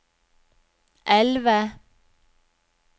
elve